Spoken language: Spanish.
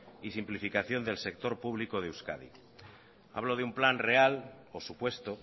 y simplificación del sector público de euskadi hablo de un plan real o supuesto